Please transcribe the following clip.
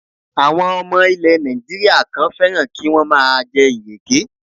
Àwọn ọmọ ilè Nàìjíríà kan fẹ́ràn kí wọ́n má a jẹ ìrèké